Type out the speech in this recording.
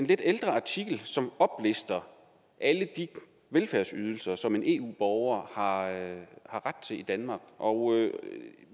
lidt ældre artikel som oplister alle de velfærdsydelser som en eu borger har ret til i danmark og